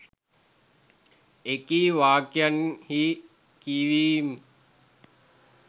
එකී වාක්‍යයන්හි කියවීම්